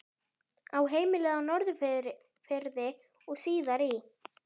Á heimilið á Norðfirði og síðar í